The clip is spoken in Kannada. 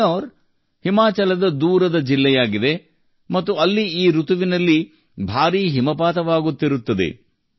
ಕಿನ್ನೌರ್ ಹಿಮಾಚಲದ ದೂರದ ಜಿಲ್ಲೆಯಾಗಿದೆ ಮತ್ತು ಅಲ್ಲಿ ಈ ಋತುವಿನಲ್ಲಿ ಭಾರೀ ಹಿಮಪಾತವಾಗುತ್ತಿರುತ್ತದೆ